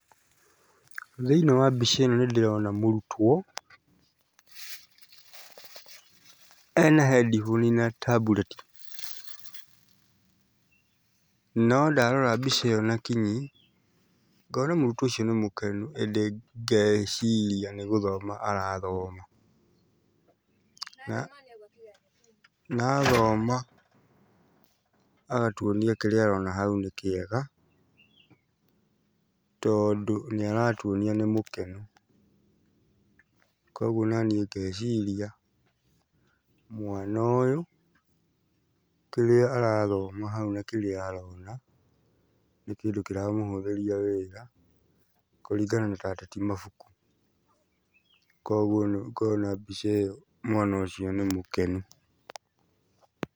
Thĩiniĩ wa mbica ĩno nĩndĩrona mũrutwo ena headphone na tablet. No ndarora mbica ĩyo na kinyi ngona mũrtwo ũcio nĩ mũkenu ĩndĩ ngeciria nĩ gũthoma arathoma. Na na athoma agatuonia kĩrĩa arona hau nĩ kĩega, tondũ nĩaratuonia nĩ mũkenu. Koguo onaniĩ ngeciria mwana ũyũ kĩrĩa arathoma hau na kĩrĩa arona nĩ kĩndũ kĩramũhũthĩria wĩra kũringana na atĩ ti mabuku, koguo ũkona mbica ĩyo mwana ũcio nĩ mũkenu.